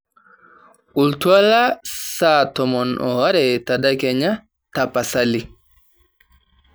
oltuala saa tomon oare tedekenya tapasali